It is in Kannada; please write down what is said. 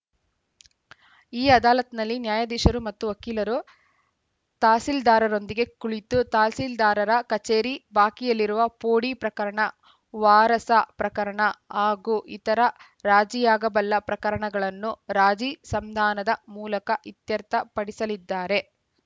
ಈ ಅದಾಲತ್‌ನಲ್ಲಿ ನ್ಯಾಯಾಧೀಶರು ಮತ್ತು ವಕೀಲರು ತಹಸೀಲ್ದಾರರೊಂದಿಗೆ ಕುಳಿತು ತಹಸೀಲ್ದಾರರ ಕಚೇರಿ ಬಾಕಿಯಿರುವ ಪೋಡಿ ಪ್ರಕರಣ ವಾರಸಾ ಪ್ರಕರಣ ಹಾಗೂ ಇತರ ರಾಜಿಯಾಗಬಲ್ಲ ಪ್ರಕರಣಗಳನ್ನು ರಾಜಿ ಸಂಧಾನದ ಮೂಲಕ ಇತ್ಯರ್ಥಪಡಿಸಲಿದ್ದಾರೆ